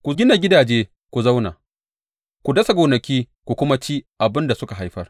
Ku gina gidaje ku zauna; ku dasa gonaki ku kuma ci abin da suka haifar.